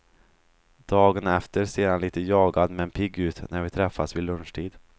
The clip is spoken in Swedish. Dagen efter ser han lite jagad men pigg ut när vi träffas vid lunchtid.